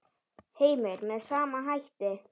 Heimir: Með sama hætti?